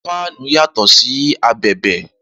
Fáánù yàtọ̀ sí abẹ̀bẹ̀